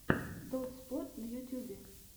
дотспот на ютюбе